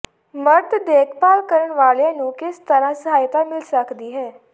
ਮਰਦ ਦੇਖਭਾਲ ਕਰਨ ਵਾਲਿਆਂ ਨੂੰ ਕਿਸ ਤਰ੍ਹਾਂ ਸਹਾਇਤਾ ਮਿਲ ਸਕਦੀ ਹੈ